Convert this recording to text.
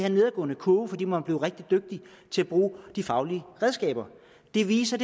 en nedadgående kurve fordi man blev rigtig dygtige til at bruge de faglige redskaber det viser